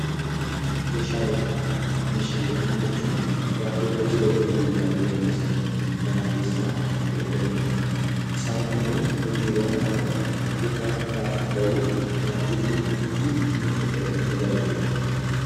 Meeshaalee manaa: meeshaalee mana jechuun; watoota jireenya guyyaa guyyaa keessatti mana keessa itti faayyadamnuu isaan kunneen hojiiwwan akka quufaa raafuu ta'u nyaachuufi nuuf kuusuufinu tajaajilu.